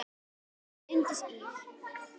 Þín Unndís Ýr.